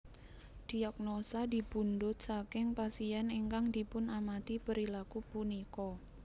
Diagnosa dipunpundut saking pasien ingkang dipunamati perilaku punika